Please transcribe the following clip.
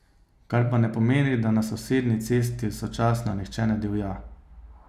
Kar pa ne pomeni, da na sosednji cesti sočasno nihče ne divja.